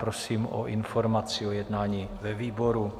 Prosím o informaci o jednání ve výboru.